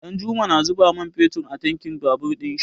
Ɗanjuma na zuba man fetur a tankin babur ɗin shi.